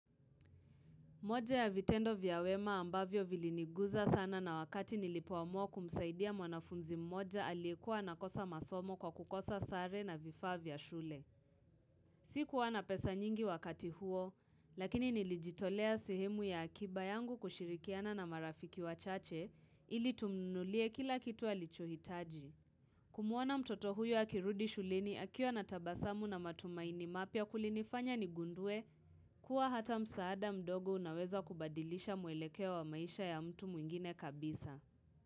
Moja ya vitendo vya wema ambavyo viliniguza sana na wakati nilipoamua kumsaidia mwanafunzi mmoja alikuwa anakosa masomo kwa kukosa sare na vifaa vya shule. Sikuwa na pesa nyingi wakati huo, lakini nilijitolea sehemu ya akiba yangu kushirikiana na marafiki wachache ili tumnunulie kila kitu alichohitaji. Kumuona mtoto huyo akirudi shuleni akiwa na tabasamu na matumaini mapya kulinifanya nigundue kuwa hata msaada mdogo unaweza kubadilisha muelekea wa maisha ya mtu mwingine kabisa.